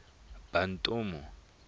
bantomu